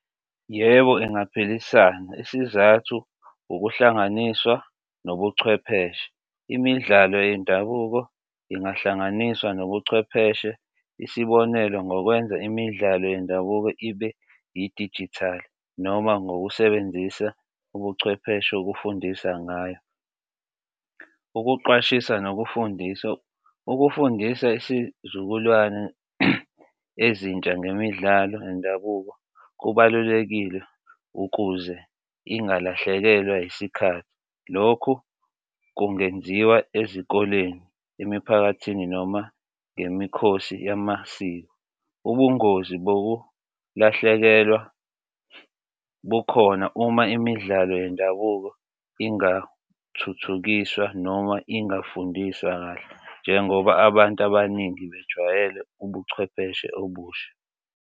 Yebo, ingaphilisana isizathu ukuhlanganiswa nobuchwepheshe, imidlalo yendabuko ingahlanganiswa nobuchwepheshe, isibonelo, ngokwenza imidlalo yendabuko ibe idijithali noma ngokusebenzisa ubuchwepheshe, ukufundisa ngayo. Ukuqwashisa nokufundisa ukufundisa isizukulwane ezintsha ngemidlalo yendabuko kubalulekile ukuze ingalahlekelwa yisikhathi, lokho kungenziwa ezikoleni emiphakathini noma ngemikhosi yamasiko. Ubungozi bokulahlekelwa bukhona uma imidlalo yendabuko ingathuthukiswa noma ingafundiswa kahle njengoba abantu abaningi bejwayele ubuchwepheshe obusha.